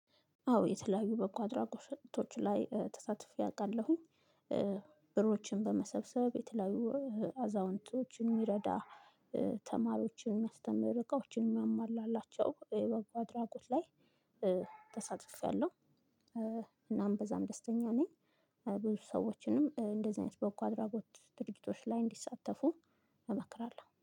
አዎ የተለያዩ በጎ አድራጎቶች ላይ ተሳትፌ አውቃለሁኝ። ብሮችን በመሰብሰብ የተለያዩ አዛውንቶችን የሚረዳ ተማሪዎችን የሚያስተምር እቃዎችን የሚያሟላላቸው በጎ አድራጎት ላይ ተሳትፌያለሁ እናም በዛም ደስተኛ ነኝ። ብዙ ሰዎችንም እንደዚህ አይነት በጎ አድራጎት ድርጊቶች ላይ እንዲሳተፉ እመክራለሁ።